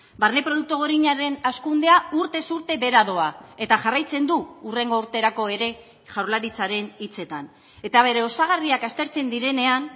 barne produktu gordinaren hazkundea urtez urte behera doa eta jarraitzen du hurrengo urterako ere jaurlaritzaren hitzetan eta bere osagarriak aztertzen direnean